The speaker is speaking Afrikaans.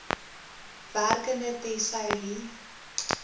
werkende tesourie